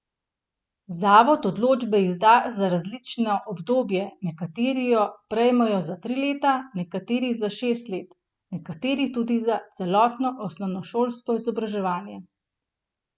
Zavod odločbe izda za različno obdobje, nekateri jo prejmejo za tri leta, nekateri za šest let, nekateri tudi za celotno osnovnošolsko izobraževanje.